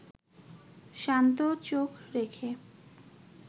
শান্ত চোখ রেখে